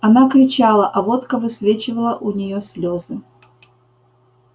она кричала а водка высвечивала у нее слезы